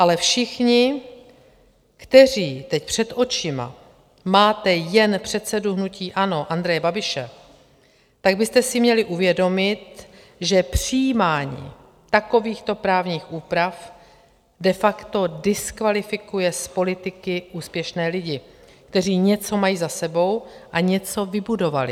Ale všichni, kteří teď před očima máte jen předsedu hnutí ANO Andreje Babiše, tak byste si měli uvědomit, že přijímání takovýchto právních úprav de facto diskvalifikuje z politiky úspěšné lidi, kteří něco mají za sebou a něco vybudovali.